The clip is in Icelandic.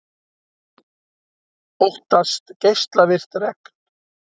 Óttast geislavirkt regn